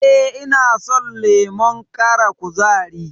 E, ina son lemon ƙara kuzari.